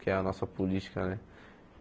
Que é a nossa política, né?